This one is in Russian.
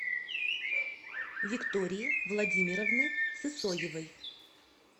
виктории владимировны сысоевой